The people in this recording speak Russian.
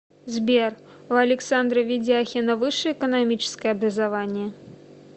сбер у александра ведяхина высшее экономическое образование